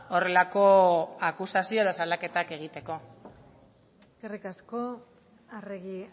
horrelako akusazio edo salaketak egiteko eskerrik asko arregi